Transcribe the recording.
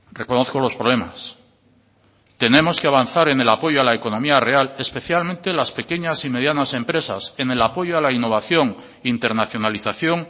reconozco los problemas tenemos que avanzar en el apoyo a la economía real especialmente las pequeñas y medianas empresas en el apoyo a la innovación internacionalización